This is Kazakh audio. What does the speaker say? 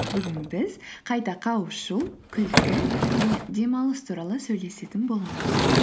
бүгін біз қайта қауышу күлкі және демалыс туралы сөйлесетін боламыз